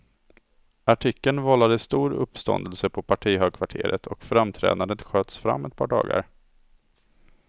Artikeln vållade stor uppståndelse på partihögkvarteret, och framträdandet sköts fram ett par dagar.